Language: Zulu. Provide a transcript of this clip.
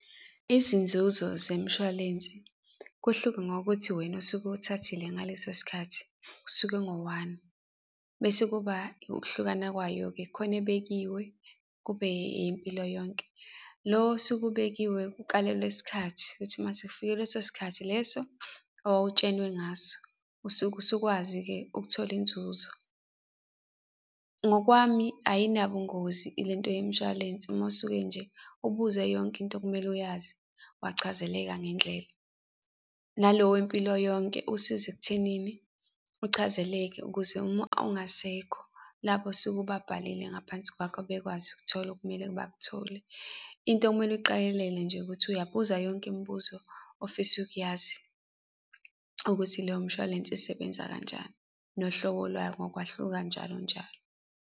Izinzuzo zemshwalensi, kuhluke ngokuthi wena osuke uwuthathile ngaleso sikhathi usuke ngowani. Bese kuba ukuhlukana kwayo-ke, kukhona ebekiwe, kube eyempilo yonke. Lo osuke ubekiwe kukalelwe isikhathi, ukuthi mase kufike leso sikhathi leso owawutshenwe ngaso, usuke usukwazi-ke ukuthola inzuzo. Ngokwami ayinabungozi ilento yemshwalense, uma usuke nje ubuze yonke into okumele uyazi, wachazeleka ngendlela. Nalo wempilo yonke usiza ekuthenini uchazeleke, ukuze uma ungasekho labo osuke ubabhale ngaphansi kwakho, bekwazi ukuthola okumele bakuthole, into ekumele uyiqakelele nje ukuthi uyabuza yonke imibuzo ofisa ukuyazi ukuthi loyo mshwalense isebenza kanjani, nohlobo lwayo ngokwahluka, njalo njalo.